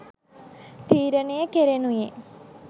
තීරණය කෙරෙනුයේ